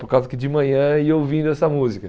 Por causa que de manhã ia ouvindo essa música.